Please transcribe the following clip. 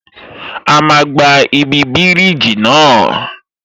A máa gba ibi bíríjì náà